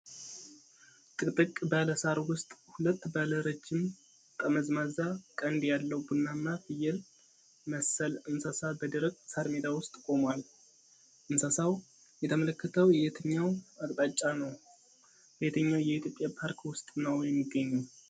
ጥቅጥቅ ባለ ሳር ውስጥ ሁለት ባለ ረጅም ጠመዝማዛ ቀንድ ያለው ቡናማ ፍየል መሰል እንስሳ በደረቅ ሳር ሜዳ ውስጥ ቆሟል። ። እንስሳው የተመለከተው የትኛውን አቅጣጫ ነው? በየትኛው የኢትዮጵያ ፓርክ ውስጥ ነው የሚገኘው?